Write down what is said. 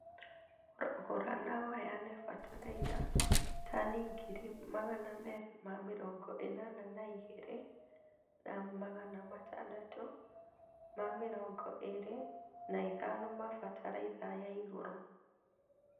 Gũra na ũheane bataraitha tani ngiri Magana merĩ ma mĩrongo ĩnana na igiri, na Magana matandatũ ma mĩrongo ĩrĩ na ithano ma bataraitha ya igũrũ